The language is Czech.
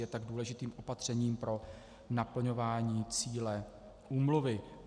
Je tak důležitým opatřením pro naplňování cíle úmluvy.